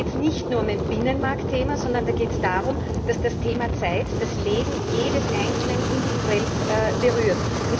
Denn da geht es nicht nur um ein Binnenmarktthema, sondern da geht es darum, dass das Thema Zeit das Leben jedes Einzelnen individuell berührt.